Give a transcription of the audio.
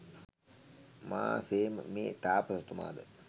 මා සේම මේ තාපසතුමා ද